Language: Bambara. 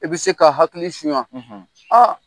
I bi se ka hakili suɲan aa